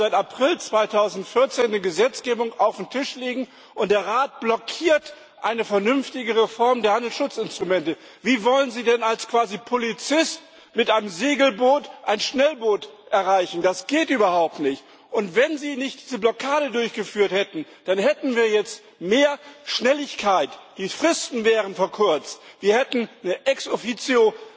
Wir haben seit April 2014 eine Gesetzgebung auf dem Tisch liegen, und der Rat blockiert eine vernünftige Reform der Handelsschutzinstrumente. Wie wollen Sie denn quasi als Polizist mit einem Segelboot ein Schnellboot erreichen? Das geht überhaupt nicht! Und wenn Sie nicht diese Blockade durchgeführt hätten, dann hätten wir jetzt mehr Schnelligkeit, die Fristen wären verkürzt, wir hätten eine Ex Officio